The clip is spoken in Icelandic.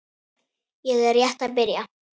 Ég er rétt að byrja!